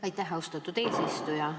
Aitäh, austatud eesistuja!